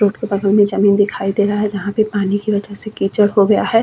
Root के बगल में जमीन दिखाई दे रहा है जहाँ पे पानी की वजह से कीचड़ हो गया है।